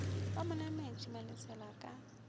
ba mo nametše malesela ka